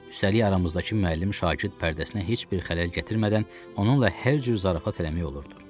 Üstəlik aramızdakı müəllim-şagird pərdəsinə heç bir xələl gətirmədən onunla hər cür zarafat eləmək olurdu.